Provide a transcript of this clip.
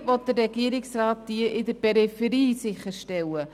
Wie will der Regierungsrat diese in der Peripherie sicherstellen?